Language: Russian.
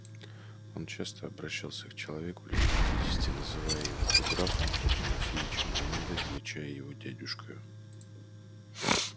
он часто обращался к человеку лет пятидесяти называя его то графом то тимофеичем а иногда величая его дядюшкою